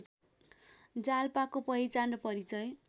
जालपाको पहिचान र परिचय